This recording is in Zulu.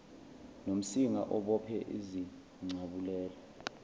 nomsinga obophe izincabulela